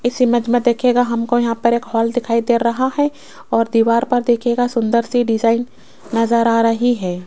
इस इमेज में देखिएगा हमको यहां पर एक हॉल दिखाई दे रहा है और दीवार पर देखिएगा सुंदर सी डिजाइन नजर आ रही है।